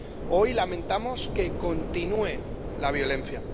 Hoy lamentamos que continúe la violencia.